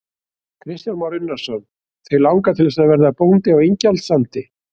Kristján Már Unnarsson: Þig langar til þess að verða bóndi á Ingjaldssandi?